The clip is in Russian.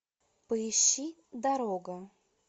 поищи дорога